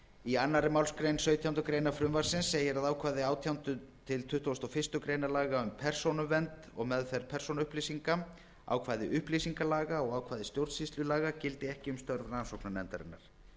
í annarri málsgrein sautjándu grein frumvarpsins segir að ákvæði átjánda til tuttugasta og fyrstu grein laga um persónuvernd og meðferð persónuupplýsinga ákvæði upplýsingalaga og ákvæði stjórnsýslulaga gildi ekki um störf rannsóknarnefndarinnar